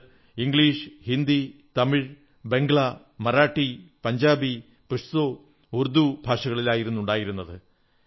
അത് ഇംഗ്ലീഷ് ഹിന്ദി തമിഴ് ബംഗാളി മറാഠി പഞ്ചാബി പഷ്തോ ഉർദൂ ഭാഷകളിലായിരുന്നു ഉണ്ടായിരുന്നത്